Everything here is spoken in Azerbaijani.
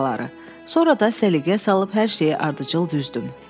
Sonra da səliqəyə salıb hər şeyi ardıcıl düzdüm.